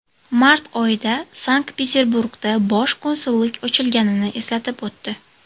Mart oyida Sankt-Peterburgda bosh konsullik ochilganini eslatib o‘tdi.